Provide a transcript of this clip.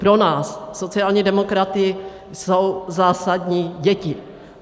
Pro nás sociální demokraty jsou zásadní děti.